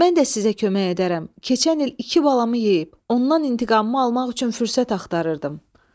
Mən də sizə kömək edərəm, keçən il iki balamı yeyib, ondan intiqamımı almaq üçün fürsət axtarırdım.